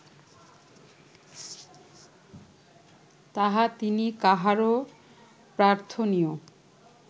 তাহা তিনি কাহারও প্রার্থনীয়